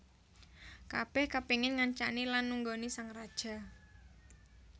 Kabèh kapéngin ngancani lan nunggoni sang raja